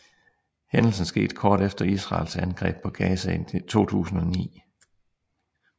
Hændelsen skete kort efter Israels angreb på Gaza i 2009